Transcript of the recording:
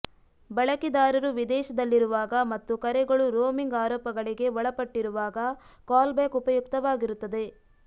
ಬಳಕೆದಾರರು ವಿದೇಶದಲ್ಲಿರುವಾಗ ಮತ್ತು ಕರೆಗಳು ರೋಮಿಂಗ್ ಆರೋಪಗಳಿಗೆ ಒಳಪಟ್ಟಿರುವಾಗ ಕಾಲ್ಬ್ಯಾಕ್ ಉಪಯುಕ್ತವಾಗಿರುತ್ತದೆ